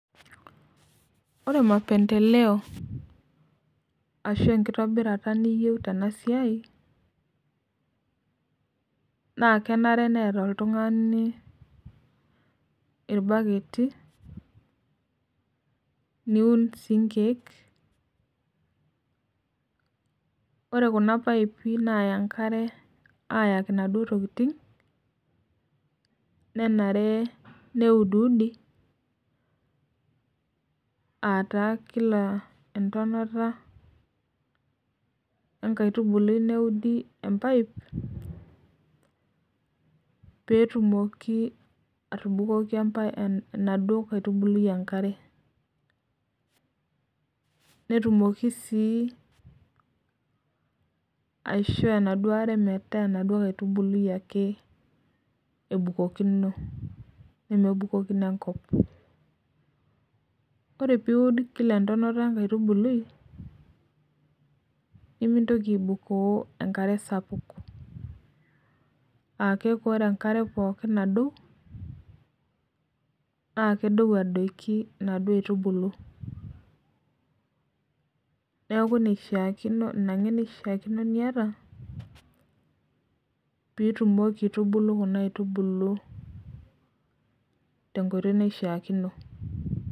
Ore mapemdeleo ashu enkitobirata niyeu tenasiai na kenare neeta oltungani orbaketi niun sii nkiek ore kuna paipa naya enkar nenare neudiudi entonata enkaitubului neudi empipe petumoki atubukoki enaduo aitubului enkare netumoki si aisho enaduo are metaa inkaitubulu enukokino ore piud kila entonata enkaitubului nimintoki aibukoo enkare sapuk aaku oee enkare naduo na kedou aitubulu neaku inake naishaakino niata peitumoki aitubulu tuna aitubulu